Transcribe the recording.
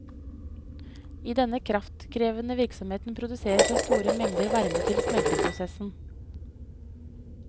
I denne kraftkrevende virksomheten produseres det store mengder varme til smelteprosessen.